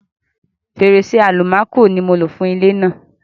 Fèrèsé-àlùmákò ni mo lò fún ilé náà.